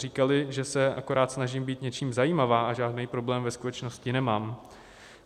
Říkali, že se akorát snažím být něčím zajímavá a žádný problém ve skutečnosti nemám.